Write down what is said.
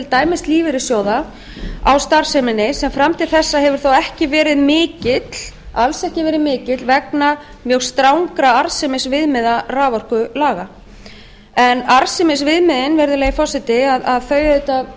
dæmis lífeyrissjóða á starfseminni sem fram til þessa hefur þó alls ekki verið mikill vegna strangra arðsemisviðmiða raforkulaga arðsemisviðmiðin virðulegi forseti tryggja það